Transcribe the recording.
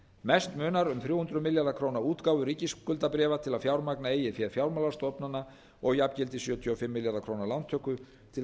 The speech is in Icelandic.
mest munar um þrjú hundruð milljarða króna útgáfu ríkisskuldabréfa til að fjármagna eigið fé fjármálastofnana og jafngildi sjötíu og fimm milljarða króna lántöku til að styrkja